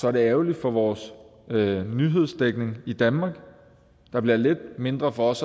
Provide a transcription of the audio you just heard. er det ærgerligt for vores nyhedsdækning i danmark der bliver lidt mindre for os